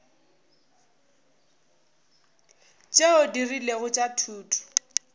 tšeo di rilego tša thuto